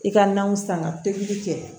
I ka nanw san ka pikiri kɛ